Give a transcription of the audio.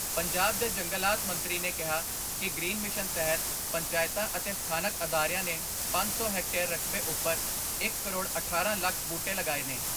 ਪੰਜਾਬ ਦੇ ਜੰਗਲਾਤ ਮੰਤਰੀ ਨੇ ਕਿਹਾ ਕਿ ਗ੍ਰੀਨ ਮਿਸ਼ਨ ਤਹਿਤ, ਪੰਚਾਇਤਾਂ ਅਤੇ ਸਥਾਨਕ ਅਦਾਰਿਆਂ ਨੇ ਪੰਜ ਸੌ ਹੈਕਟੇਅਰ ਰਕਬੇ ਉੱਪਰ ਇੱਕ ਕਰੋੜ ਅਠਾਰਾਂ ਲੱਖ ਬੂਟੇ ਲਗਾਏ ਨੇ।